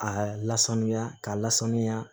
Aa lasanuya k'a lasanuya